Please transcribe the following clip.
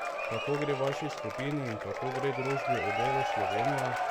Kako gre vaši skupini in kako gre družbi Odelo Slovenija?